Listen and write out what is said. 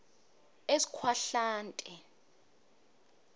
eskhwahlande